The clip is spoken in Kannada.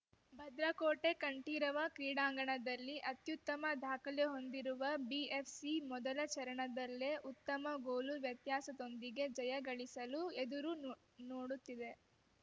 ಭದ್ರಕೋಟೆ ಕಂಠೀರವ ಕ್ರೀಡಾಂಗಣದಲ್ಲಿ ಅತ್ಯುತ್ತಮ ದಾಖಲೆ ಹೊಂದಿರುವ ಬಿಎಫ್‌ಸಿ ಮೊದಲ ಚರಣದಲ್ಲೇ ಉತ್ತಮ ಗೋಲು ವ್ಯತ್ಯಾಸದೊಂದಿಗೆ ಜಯ ಗಳಿಸಲು ಎದುರು ನೋ ನೋಡುತ್ತಿದೆ